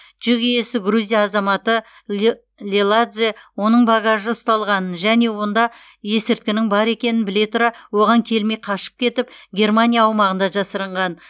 жүк иесі грузия азаматы леладзе оның багажы ұсталғанын және онда есірткінің бар екенін біле тұра оған келмей қашып кетіп германия аумағында жасырынған